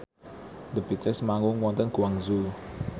The Beatles manggung wonten Guangzhou